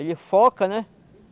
Ele foca, né?